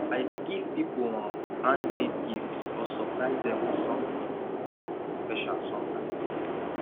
i dey give people um handmade gifts or surprise dem with something um special sometimes